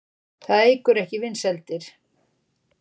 Það eykur ekki vinsældir.